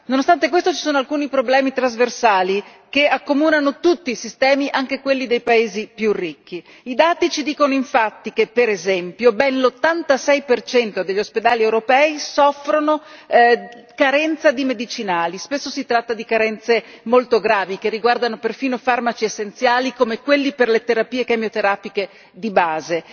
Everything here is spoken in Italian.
Nonostante questo, ci sono alcuni problemi trasversali che accomunano tutti i sistemi, anche quelli dei paesi più ricchi i dati ci dicono infatti che, per esempio, ben l'86 degli ospedali europei soffrono carenza di medicinali, spesso si tratta di carenze molto gravi, che riguardano perfino farmaci essenziali come quelli per le terapie chemioterapiche di base.